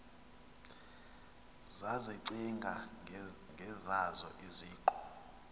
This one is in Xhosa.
zazicinga ngezazo iziqu